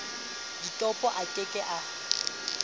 ditopo a ke ke a